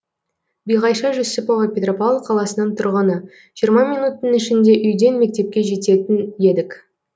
биғайша жүсіпова петропавл қаласының тұрғыны жиырма минуттың ішінде үйден мектепке жететін едік